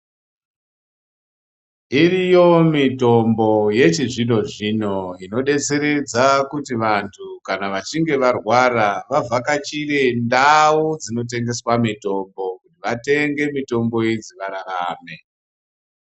Iriyo mitombo yechizvino-zvino inobetseredza kuti vantu kana vantu vachinge varwara vavhakachire ndau dzinotengeswa mitombo. Kuti vatenge mitombo idzi vararame.